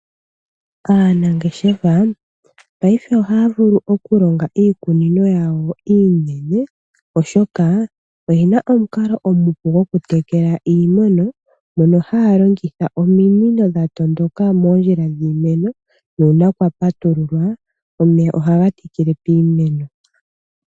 Aanangeshefa paife ohaya vulu okulonga iikunino yawo iinene oshoka oyena omukalo omupu gokutekela iimeno, mono haya longitha ominino dhatondoka moondjila dhiimeno nuuna kwapatululwa omeya ohaga thikile miimeno.